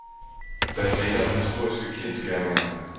Der er tale om historiske kendsgerninger.